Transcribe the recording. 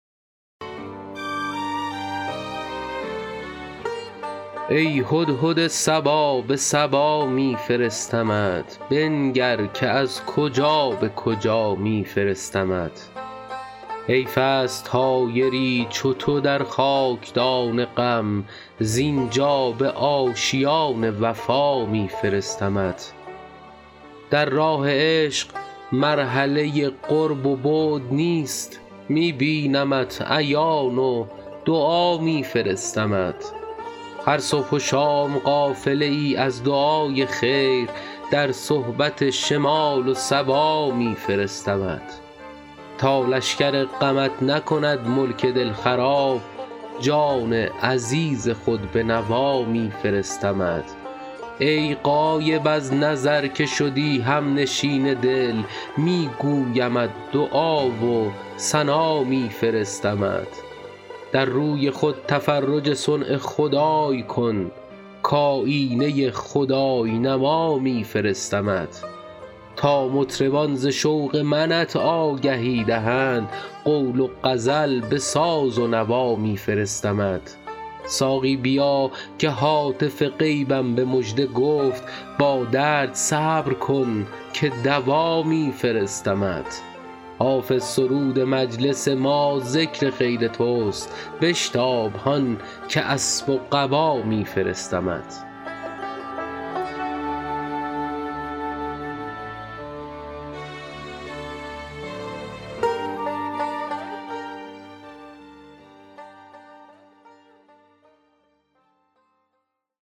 ای هدهد صبا به سبا می فرستمت بنگر که از کجا به کجا می فرستمت حیف است طایری چو تو در خاک دان غم زین جا به آشیان وفا می فرستمت در راه عشق مرحله قرب و بعد نیست می بینمت عیان و دعا می فرستمت هر صبح و شام قافله ای از دعای خیر در صحبت شمال و صبا می فرستمت تا لشکر غمت نکند ملک دل خراب جان عزیز خود به نوا می فرستمت ای غایب از نظر که شدی هم نشین دل می گویمت دعا و ثنا می فرستمت در روی خود تفرج صنع خدای کن کآیینه خدای نما می فرستمت تا مطربان ز شوق منت آگهی دهند قول و غزل به ساز و نوا می فرستمت ساقی بیا که هاتف غیبم به مژده گفت با درد صبر کن که دوا می فرستمت حافظ سرود مجلس ما ذکر خیر توست بشتاب هان که اسب و قبا می فرستمت